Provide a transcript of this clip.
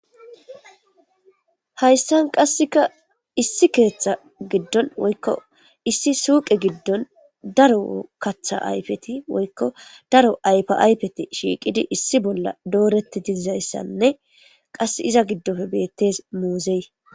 Hayissan qasekka Issi keeththa gidonn woyikko issi suqe gidon daro kaththa ayifeti woykko daro ayifa ayifeti shiqidi issi bolla doret dizayssanne qas iza gidoppe bettes muzzey